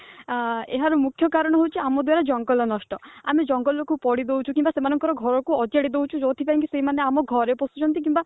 ଆ ଏହାର ମୁଖ୍ୟ କାରଣ ହଉଛି ଆମ ଦ୍ଵାରା ଜଙ୍ଗଲ ନଷ୍ଟ ଆମେ ଜଙ୍ଗଲକୁ ପୋଡି ଦଉଛୁ କିମ୍ବା ସେମାନଙ୍କ ଘରକୁ ଅଜାଡି ଦଉଛୁ ଯୋଉଥିପାଇଁ ସେମାନେ ଆମ ଘରେ ପଶୁଛନ୍ତି କିମ୍ବା